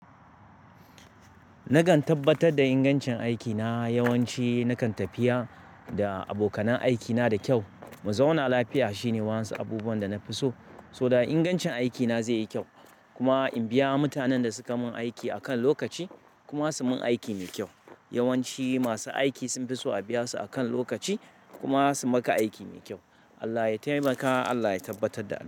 Nakan tabbatar da ingancin aikina, yawanci nakan tafiya da abokanan aikina da kyau. Muzauna lafiya shine wasu abubuwan da na fi so, saboda ingancin aikina zai yi kyau. Kuma in biya mutanen da suka mun aiki akan lokaci kuma su mun aiki mai kyau. Yawanci masu aiki sun fi so a biya su akan lokaci kuma su maka aiki mai kyau. Allah ya taimaka, Allah ya tabbatar da haka.